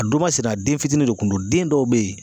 A don masina den fitini de kun do den dɔw bɛ ye